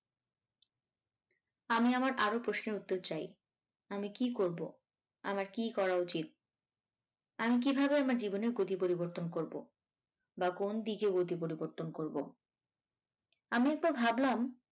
আমি আমার আরো প্রশ্নের উত্তর চাই আমি কী করবো? আমার কী করা উচিত? আমি কিভাবে আমার জীবনের গতি পরিবর্তন করবো? বা কোন দিকে গতি পরিবর্তন করবো আমি একবার ভাবলাম।